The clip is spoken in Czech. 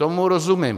Tomu rozumím.